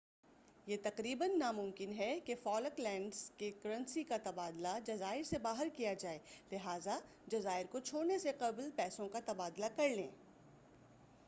یہ تقریباً نامُمکن ہے کہ فالک لینڈز کی کرنسی کا تبادلہ جزائر سے باہر کیا جائے لہٰذا جزائر کو چھوڑنے سے قبل پیسوں کا تبادلہ کرلیں